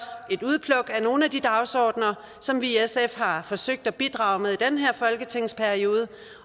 et udpluk af nogle af de dagsordener som vi i sf har forsøgt at bidrage med i den her folketingsperiode